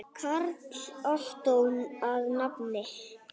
Karl Ottó að nafni.